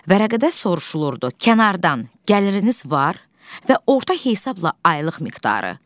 Vərəqədə soruşulurdu: kənardan gəliriniz var və orta hesabla aylıq miqdarı?